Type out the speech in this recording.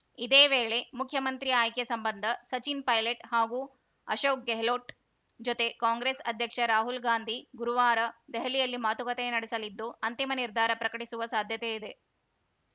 ಇದೇ ವೇಳೆ ಮುಖ್ಯಮಂತ್ರಿ ಆಯ್ಕೆ ಸಂಬಂಧ ಸಚಿನ್‌ ಪೈಲಟ್‌ ಹಾಗೂ ಅಶೋಕ್‌ ಗೆಹ್ಲೋಟ್‌ ಜೊತೆ ಕಾಂಗ್ರೆಸ್‌ ಅಧ್ಯಕ್ಷ ರಾಹುಲ್‌ ಗಾಂಧಿ ಗುರುವಾರ ದೆಹಲಿಯಲ್ಲಿ ಮಾತುಕತೆ ನಡೆಸಲಿದ್ದು ಅಂತಿಮ ನಿರ್ಧಾರ ಪ್ರಕಟಿಸುವ ಸಾಧ್ಯತೆ ಇದೆ